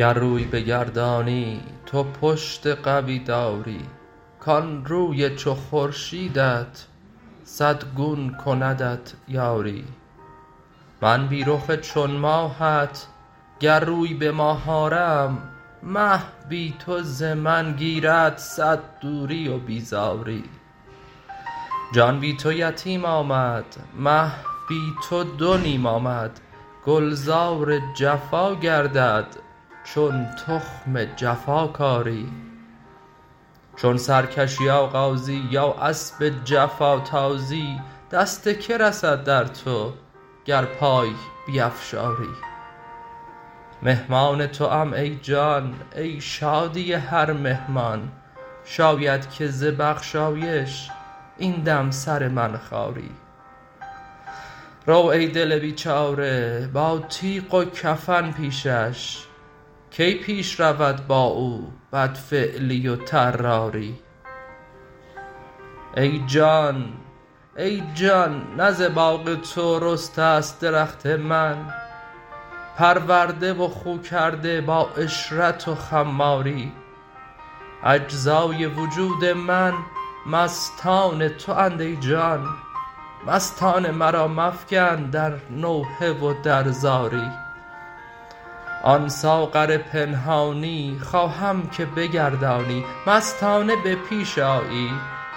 گر روی بگردانی تو پشت قوی داری کان روی چو خورشیدت صد گون کندت یاری من بی رخ چون ماهت گر روی به ماه آرم مه بی تو ز من گیرد صد دوری و بیزاری جان بی تو یتیم آمد مه بی تو دو نیم آمد گلزار جفا گردد چون تخم جفا کاری چون سرکشی آغازی یا اسب جفا تازی دست کی رسد در تو گر پای نیفشاری مهمان توام ای جان ای شادی هر مهمان شاید که ز بخشایش این دم سر من خاری رو ای دل بیچاره با تیغ و کفن پیشش کی پیش رود با او بدفعلی و طراری ای جان نه ز باغ تو رسته ست درخت من پرورده و خو کرده با عشرت و خماری اجزای وجود من مستان تواند ای جان مستان مرا مفکن در نوحه و در زاری آن ساغر پنهانی خواهم که بگردانی مستانه به پیش آیی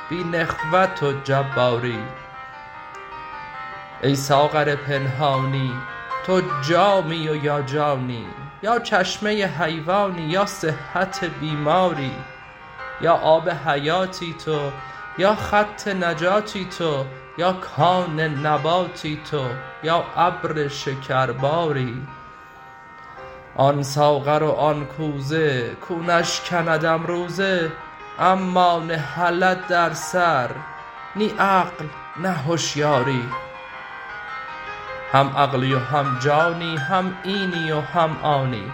بی نخوت و جباری ای ساغر پنهانی تو جامی و یا جانی یا چشمه حیوانی یا صحت بیماری یا آب حیاتی تو یا خط نجاتی تو یا کان نباتی تو یا ابر شکرباری آن ساغر و آن کوزه کو نشکندم روزه اما نهلد در سر نی عقل نی هشیاری هم عقلی و هم جانی هم اینی و هم آنی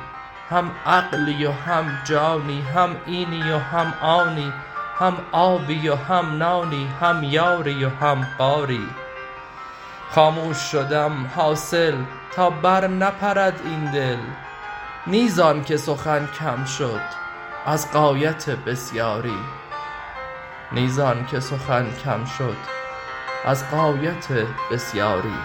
هم آبی و هم نانی هم یاری و هم غاری خاموش شدم حاصل تا برنپرد این دل نی زان که سخن کم شد از غایت بسیاری